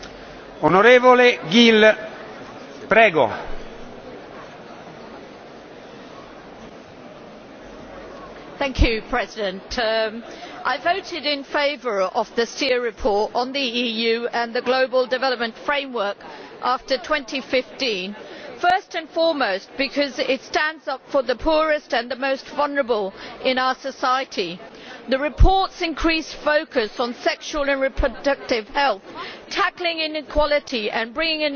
Mr President, I voted in favour of the Stier report on the EU and the global development framework after 2015 first and foremost because it stands up for the poorest and the most vulnerable in our society. The report's increased focus on sexual and reproductive health, tackling inequality and bringing an end to